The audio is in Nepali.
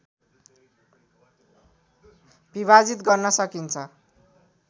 विभाजित गर्न सकिन्छ